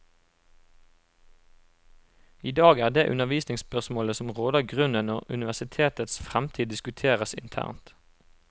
I dag er det undervisningsspørsmål som råder grunnen når universitetets fremtid diskuteres internt.